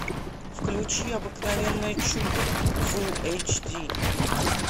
включи обыкновенное чудо фулл эйч ди